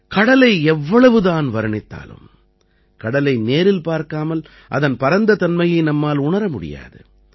கடலை எவ்வளவுதான் வர்ணித்தாலும் கடலை நேரில் பார்க்காமல் அதன் பரந்த தன்மையை நம்மால் உணர முடியாது